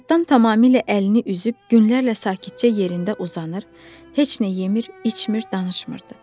Həyatdan tamamilə əlini üzüb, günlərlə sakitcə yerində uzanır, heç nə yemir, içmir, danışmırdı.